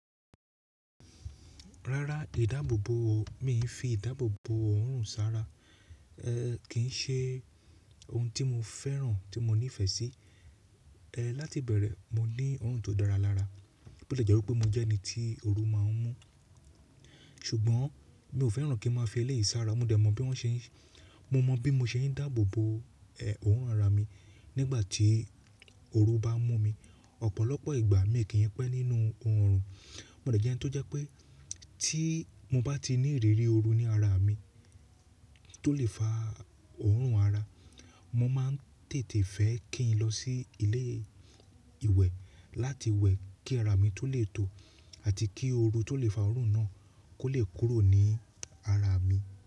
Rárá, ìdáàbòbò ò, mi fi ìdáàbòbò òórùn sára. Ẹ kì í ṣe ohun tí mo fẹ́ràn tí mo nífẹ̀ẹ́ sí. Ẹ láti bẹ̀rẹ̀, mo ní òórùn tó dára lára. Bó tilẹ̀ jẹ́ wípé mo jẹ́ ẹni tí ooru máa ń mú. Ṣùgbọ́n mi ò fẹ́ràn kí n máa fi eléyìí sára. Mo dẹ̀ mọ̀ bí wọ́n ṣe ń, mo mọ̀ bí mo ṣe ń dáàbò bo ẹ̀ òórùn ara mi nígbà tí ooru bá ń mú mi. Ọ̀pọ̀lọpọ̀ ìgbà miì kí ń pẹ́ nínú oòrùn. Mo dẹ̀ jẹ́ ẹni tó jẹ́ pé tí mo bá ti ní ìrírí ooru ní ara mi tó lè fa òórùn ara, mo máa ń tètè fẹ́ kí n lọ sí ilé-ìwẹ̀ láti wẹ̀ kí ara mi tó lè tò àti kí ooru tó lè fa òórùn náà kó lè kúrò ní ara mi.